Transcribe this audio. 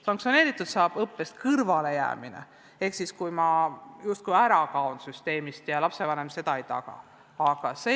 Sanktsioneerida saab õppest kõrvalejäämist ehk seda, kui laps justkui kaob süsteemist ja lapsevanem ei taga tema õppetöös osalemist.